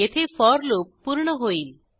येथे for loop पूर्ण होईल